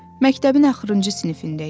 Məktəbin axırıncı sinifində idi.